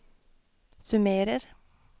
summerer